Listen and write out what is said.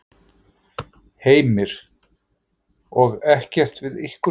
Heimir: Og ekkert við ykkur talað?